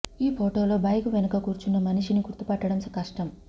ఈ పోటో లో బైకు వెనక కూర్చున్న మనిషిని గుర్తుపట్టడం కష్టం